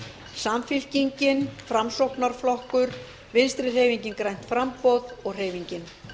samfylkingin framsóknarflokkur vinstri hreyfingin grænt framboð og hreyfingin